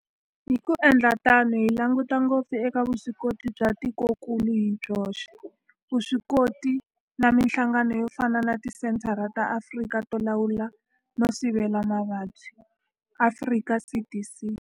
Hi ku endla tano hi langutisa ngopfu eka vuswikoti bya tikokulu hi byoxe, vuswikoti na mihlangano yo fana na Tisenthara ta Afrika to Lawula no Sivela Mavabyi, Afrika CDC.